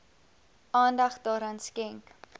aandag daaraan skenk